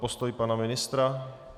Postoj pana ministra?